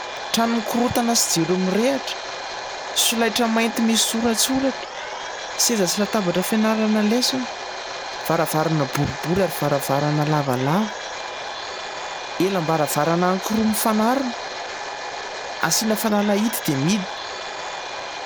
Trano mikorontana sy jiro mirehatra, solaitra mainty misy soratsoratra, seza sy latabatra fianarana lesona, varavarana boribory ary varavarana lavalava, elam-baravarana anankiroa mifanarona, asiana fanalahidy dia mihidy.